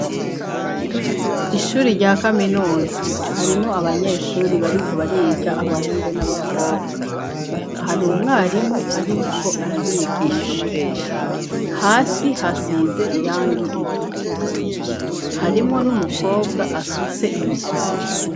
Ishuri rya kaminuza harimo abanyeshuri bariko bariga abahungo n'abakobwa hari umwarimu, ariko arabigisha hasi hasize irangi ritukura harimwo n'umukobwa asutse ibisuko.